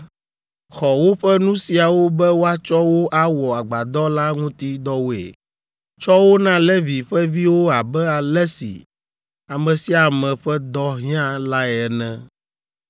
“Xɔ woƒe nu siawo be woatsɔ wo awɔ agbadɔ la ŋuti dɔwoe. Tsɔ wo na Levi ƒe viwo abe ale si ame sia ame ƒe dɔ hiã lae ene.”